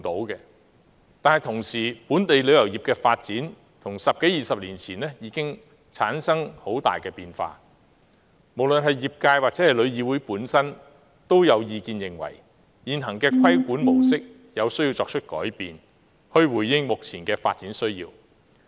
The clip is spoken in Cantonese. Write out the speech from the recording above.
然而，由於本地旅遊業的發展與十多二十年前已產生了很大的變化，所以無論是業界或旅議會本身也有意見認為，現行的規管模式有需要作出改變，以回應目前的發展需要。